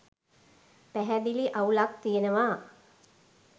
පැහැදිලි අවුලක් තියෙනවා